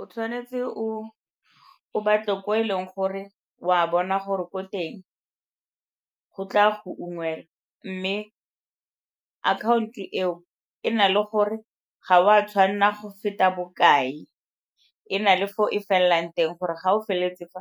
O tshwanetse o batle ko e leng gore o a bona gore ko teng go tla go ungwelwa mme account-o eo e na le gore ga o a tshwanela go feta bokae, e na le fo e felelang teng gore ga o feleletse fa